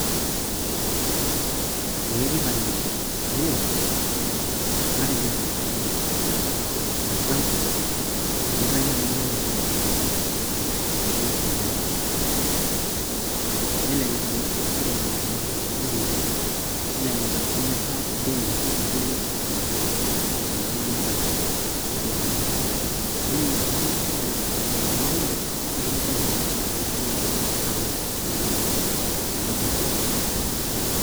ee kitanyamal. amu, matejo for example, emirtae naaji irnyanya teine te boo. tenkalo ilo duka lai, nelelek aa ore lelo kiliku le nkinyiang'a nelelek aa kemirtae bei nalelek aalang' kuna namirta nanu, ena bei namirta nanu, naa emidol ajo ore ilanyiang'ak kumok kepuo ainying elde tung'ani otii boo aalang nanu omirta toduka.